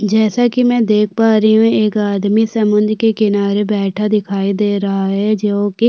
जैसा कि मै देख पा रही हूं एक आदमी समुन्द्र के किनारे बैठा दिखाई दे रहा है जो कि --